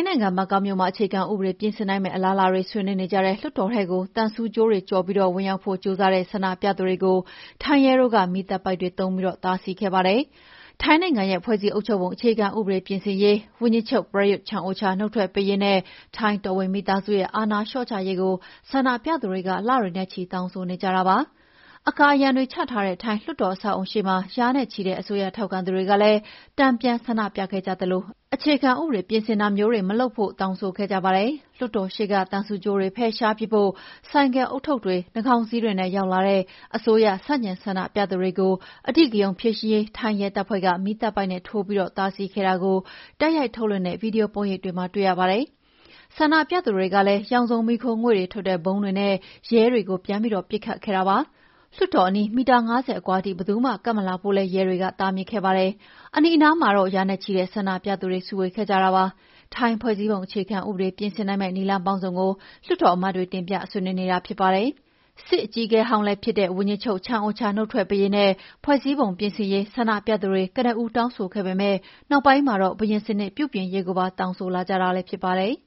းနိုင်ငံဘန်ကောက်မြို့မှာ အခြေခံဥပဒေပြင်ဆင်နိုင်မယ့် အလားအလာတွေ ဆွေးနွေးနေကြတဲ့လွှတ်တော်ထဲကို သံဆူးကြိုးတွေကိုကျော်ပြီး ဝင်ရောက်ဖို့ ကြိုးစားတဲ့ ဆန္ဒပြသူတွေကို ထိုင်းရဲတို့က မီးသတ်ပိုက်တွေသုံးပြီး တားဆီးခဲ့ပါတယ်။ ထိုင်းနိုင်ငံရဲ့ ဖွဲ့စည်းအုပ်ချုပ်ပုံအခြေခံဥပဒေပြင်ဆင်ရေး၊ ဝန်ကြီးချုပ် Prayuth Chan-ocha နုတ်ထွက်ပေးရေး နဲ့ ထိုင်းတော်ဝင်မိသားစုရဲ့အာဏာလျှော့ချရေးကို ဆန္ဒပြသူတွေေ လတွေနဲ့ချီ တောင်းဆိုနေကြတာပါ။ အကာအရံတွေချထားတဲ့ ထိုင်းလွှတ်တော်အဆောက်အအုံရှေ့မှာ ရာနဲ့ချီတဲ့အစိုးရထောက်ခံသူတွေကလည်း တန်ပြန်ဆန္ဒပြခဲ့ကြသလို အခြေခံဥပဒေ ပြင်ဆင်တာတွေမလုပ်ဖို့ တောင်းဆိုခဲ့ကြပါတယ်။ လွှတ်တော်ရှေ့က သံဆူးကြိုးတွေဖယ်ရှားပစ်ဖို့ ဆိုင်ကယ်ဦးထုပ်တွေ၊ နှာခေါင်းစည်းတွေနဲ့ ရောက်လာတဲ့ အစိုးရဆန့်ကျင်ဆန္ဒပြသူတွေကို အဓိကရုဏ်းဖြေရှင်းရေး ထိုင်းရဲတပ်ဖွဲ့က မီးသတ်ပိုက်နဲ့ ထိုးပြီး တားဆီးခဲ့တာကို တိုက်ရိုက်ထုတ်လွှင့်တဲ့ ဗီဒီယိုပုံရိပ်တွေမှာတွေ့ရပါတယ်။ ဆန္ဒပြသူတွေကလည်း ရောင်စုံမီးခိုးငွေ့တွေထွက်တဲ့ ဗုံးတွေနဲ့ ရဲတွေကို ပြန်ပြီးပစ်ခတ်ခဲ့ကြပါတယ်။ လွှတ်တော်အနီး မီတာ ၅၀ အကွာထိ ဘယ်သူမှ ကပ်မလာဖို့လည်း ရဲတွေက တားမြစ်ခဲ့ပါတယ်။ အနီးအနားမှာတော့ ရာနဲ့ချီတဲ့ ဆန္ဒပြသူတွေစုဝေးခဲ့ကြပါတယ်။ ထိုင်းဖွဲ့စည်းပုံဥပဒေ ပြင်ဆင်နိုင်မယ့် နည်းလမ်းပေါင်းစုံကို လွှတ်တော်အမတ်တွေက တင်ပြဆွေးနွေးတာဖြစ်ပါတယ်။ စစ်အကြီးအကဲဟောင်းလည်းဖြစ်တဲ့ ဝန်ကြီးချုပ် ချန်အိုချာနုတ်ထွက်ပေးရေးနဲ့ ဖွဲ့စည်းပုံပြင်ဆင်ရေး ဆန္ဒပြသူတွေ ကနဦးတောင်းဆိုခဲ့ပေမယ့်နောက်ပိုင်းမှာတော့ ဘုရင်စနစ်ပြုပြင်ရေးကိုပါ တောင်းဆိုလာကြတာလည်းဖြစ်ပါတယ်